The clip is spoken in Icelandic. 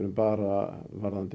bara varðandi